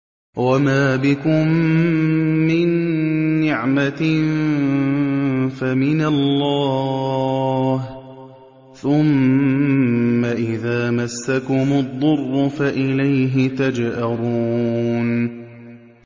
وَمَا بِكُم مِّن نِّعْمَةٍ فَمِنَ اللَّهِ ۖ ثُمَّ إِذَا مَسَّكُمُ الضُّرُّ فَإِلَيْهِ تَجْأَرُونَ